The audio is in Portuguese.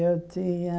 Eu tinha...